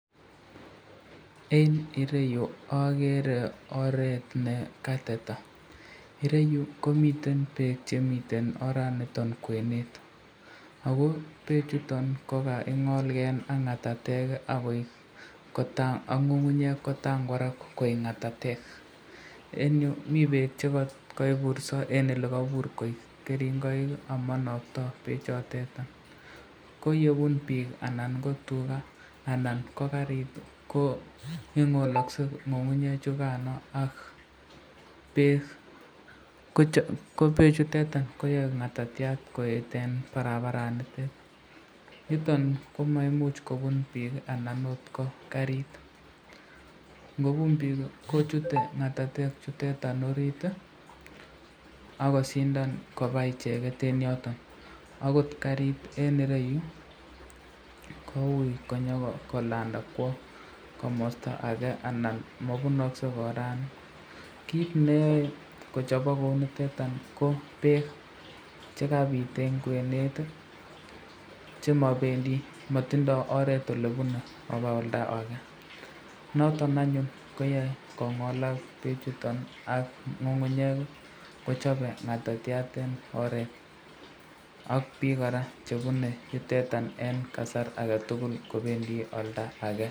Eng ireyu agere oret nekateta, ireyu komiten bek chemi oranoton kwenet, ako bek chuton ko kaingolken ak ngatatek ak ngungunyek kotangwarak koek ngatatek, eng yu mi bek chekaiburso eng olekabur koik keringoik ak manokto bechoton, ko yebun bik anan ko tuka anan ko karit ko ingolakse ngungunyek chukano ak bek, ko bek chutetan koyae ngatatyat koet eng barabaranitrn, niton komaimuch kobun bik anan akot ko karit, ngobun bik kochute ngatatek chutetan orit akosindan koba icheket eng yoton, akot karit eng ireyu koui konyokolanda kwo komasta ake anan mabunaksenorani, kit neyoe kochabok kou notetan ko bek chekabit eng kwenet chemabendi ,matindo oret olebune koba oldake